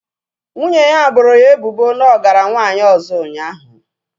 Nwunye ya boro ya ebubo na ọ gara nwanyị ọzọ ụnyaahụ